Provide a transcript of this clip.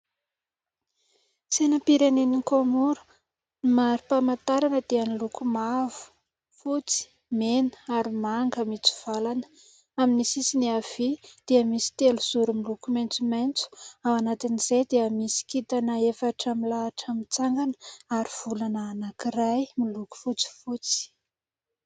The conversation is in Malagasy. Sainam-pirenen'ny "Comore" mari-pamantarana dia niloko mavo, fotsy, mena ary manga mitsivalana, amin'ny sisiny havia dia misy telozoro miloko maitsomaitso : ao anatin'izay dia misy kintana efatra milahatra mitsangana ary volana anankiray miloko fotsifotsy.